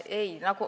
Ei.